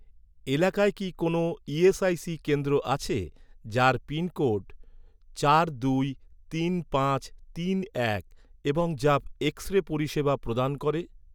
এলাকায় কি কোনও ইএসআইসি কেন্দ্র আছে যার পিনকোড চার দুই তিন পাঁচ তিন এক এবং যা এক্স রে পরিষেবা প্রদান করে?